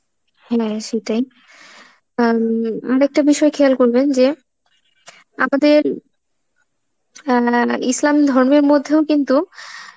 হ্যাঁ সেটাই, আ উম একটা বিষয় খেয়াল করবেন যে আমাদের অ্যাঁ মানে ইসলাম ধর্মের মধ্যেও কিন্তু